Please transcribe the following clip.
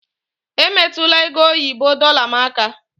Emetụla ego oyibo dorlar m aka!